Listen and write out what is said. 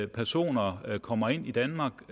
personer kommer ind i danmark